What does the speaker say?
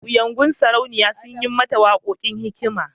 Kuyangodin sauraniya sun yi mata wakakon hikma.